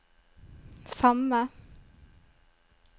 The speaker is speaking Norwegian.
samme